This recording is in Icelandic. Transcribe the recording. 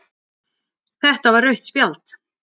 Þetta var rautt spjald